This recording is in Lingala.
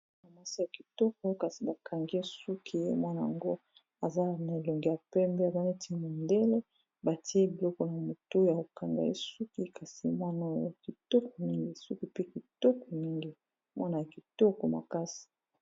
Mwana mwasi ya kitoko kasi bakangi ye suki ye mwana ngo aza na elongi ya pembe aza neti mondele batie biloko na motu ya kokanga ye suki kasi mwana oyo kitoko mingi suki pe kitoko mingi mwana ya kitoko makasi.